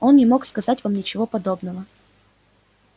он не мог сказать вам ничего подобного